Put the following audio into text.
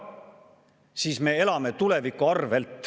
Sel juhul me elame tuleviku arvel.